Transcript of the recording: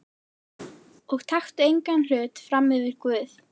Og taktu engan hlut frammyfir Guð.